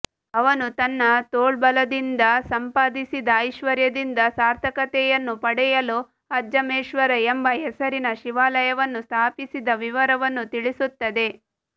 ಅವನು ತನ್ನ ತೋಳ್ಬಲದಿಂದ ಸಂಪಾದಿಸಿದ ಐಶ್ವರ್ಯದಿಂದ ಸಾರ್ಥಕತೆಯನ್ನು ಪಡೆಯಲು ಅಜ್ಜಮೇಶ್ವರ ಎಂಬ ಹೆಸರಿನ ಶಿವಾಲಯವನ್ನು ಸ್ಥಾಪಿಸಿದ ವಿವರವನ್ನು ತಿಳಿಸುತ್ತದೆ